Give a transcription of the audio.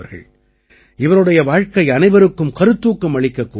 இவருடைய வாழ்க்கை அனைவருக்கும் கருத்தூக்கம் அளிக்கக்கூடிய ஒன்று